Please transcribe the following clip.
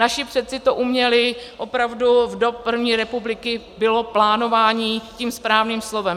Naši předci to uměli, opravdu od první republiky bylo plánování tím správným slovem.